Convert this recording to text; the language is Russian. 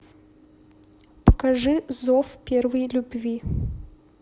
покажи зов первой любви